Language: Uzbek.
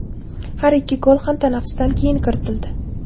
Har ikki gol ham tanaffusdan keyin kiritildi.